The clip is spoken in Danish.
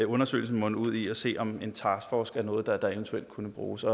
undersøgelsen munde ud i at se på om en taskforce er noget der eventuelt kunne bruges